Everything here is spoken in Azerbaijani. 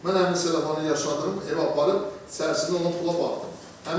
Mən həmin sellafanı yaşadığım evə aparıb içərisində olan pula baxdım.